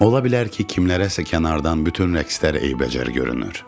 Ola bilər ki, kimlərəsə kənardan bütün rəqslər eybəcər görünür.